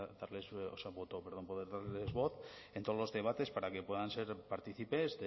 darles voz en todos los debates para que puedan ser partícipes